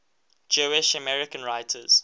jewish american writers